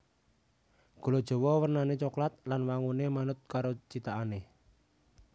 Gula jawa wernané coklat lan wanguné manut karo cithakané